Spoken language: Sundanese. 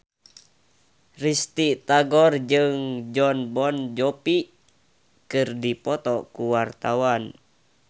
Risty Tagor jeung Jon Bon Jovi keur dipoto ku wartawan